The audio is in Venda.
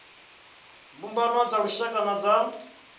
mbumbano dza lushaka na dza